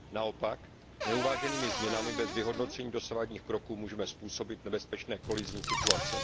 Naopak, neuváženými změnami bez vyhodnocení dosavadních kroků můžeme způsobit nebezpečné kolizní situace.